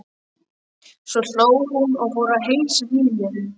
Svo hló hún og fór að heilsa hinum.